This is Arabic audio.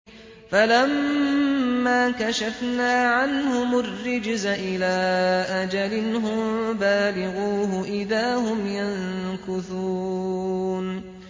فَلَمَّا كَشَفْنَا عَنْهُمُ الرِّجْزَ إِلَىٰ أَجَلٍ هُم بَالِغُوهُ إِذَا هُمْ يَنكُثُونَ